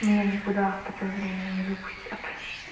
меня никуда в такое время не выпустят